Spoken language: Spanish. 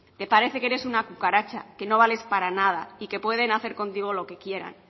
te parece que eres una cucaracha que no vales para nada y que pueden hacer contigo lo que quieran